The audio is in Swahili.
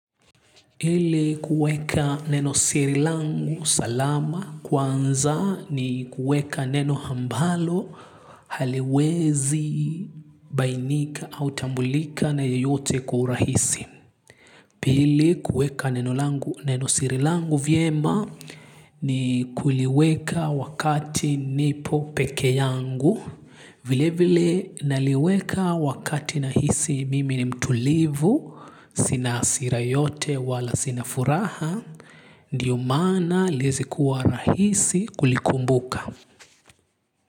Ili kuweka neno siri langu salama kwanza ni kuweka neno ambalo haliwezi bainika au tambulika na yeyote kwa urahisi. Pili kuweka nenosiri langu vyema ni kuliweka wakati nipo pekee yangu, vile vile naliweka wakati nahisi mimi ni mtulivu, sina hasira yote wala sina furaha, ndiyo maana ili iweze kuwa rahisi kulikumbuka.